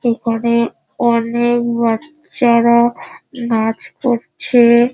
এখানে অনেক বাচ্চারা নাচ করছে।